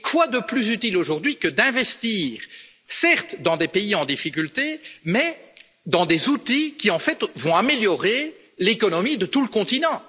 Et quoi de plus utile aujourd'hui que d'investir, certes dans des pays en difficulté, mais dans des outils qui vont améliorer l'économie de tout le continent?